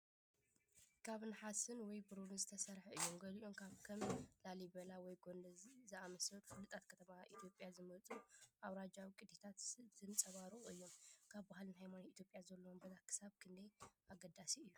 ካብ ነሓስ ወይ ብሩር ዝተሰርሑ እዮም። ገሊኦም ካብ ከም ላሊበላ ወይ ጎንደር ዝኣመሰሉ ፍሉጣት ከተማታት ኢትዮጵያ ዝመጹ ኣውራጃዊ ቅዲታት ዘንጸባርቑ እዮም። ኣብ ባህልን ሃይማኖትን ኢትዮጵያ ዘለዎም ቦታ ክሳብ ክንደይ ኣገዳሲ እዩ?